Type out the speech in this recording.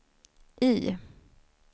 I